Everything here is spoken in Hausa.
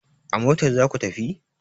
A motar za ku tafi!